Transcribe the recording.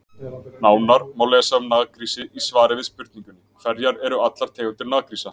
Nánar má lesa um naggrísi í svari við spurningunni Hverjar eru allar tegundir naggrísa?